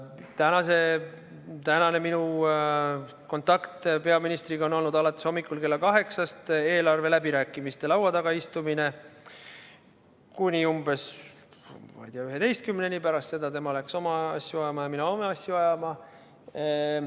Minu tänane kontakt peaministriga kestis alates hommikul kella 8-st eelarve läbirääkimiste laua taga kuni umbes kella 11‑ni, pärast seda läks tema oma asju ja mina oma asju ajama.